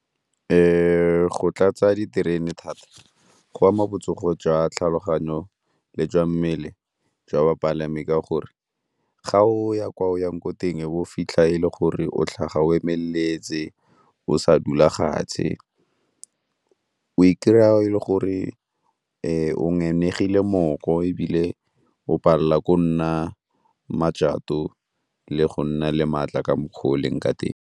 Go tlatsa diterene thata go ama botsogo jwa tlhaloganyo le jwa mmele jwa bapalami ka gore ga o ya kwa o yang ko teng e be o fitlha e le gore o tlhaga o emeletse o sa dula fatshe, o i-kry-a e le gore o mooko ebile o palela ko nna le go nna le maatla ka mokgwa o o leng ka teng.